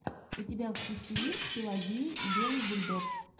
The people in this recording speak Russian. у тебя в списке есть пелагия и белый бульдог